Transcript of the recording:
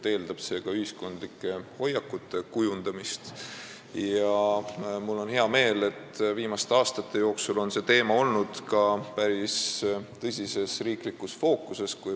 See eeldab ka ühiskondlike hoiakute kujundamist ja mul on hea meel, et viimastel aastatel on see teema olnud päris tõsiselt riiklikus fookuses.